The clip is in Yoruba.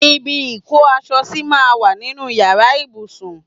Ibi ìkó aṣọ sí máa ń wà nínú Ìyàrá ìbùsùn.